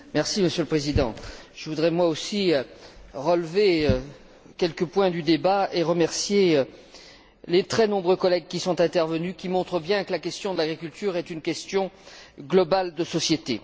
Monsieur le Président, je voudrais moi aussi relever quelques points du débat et remercier les très nombreux collègues qui sont intervenus, ce qui montre bien que la question de l'agriculture est une question globale de société.